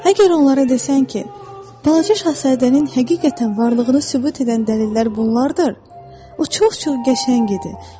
Əgər onlara desən ki, balaca şahzadənin həqiqətən varlığını sübut edən dəlillər bunlardır, o çox-çox qəşəng idi.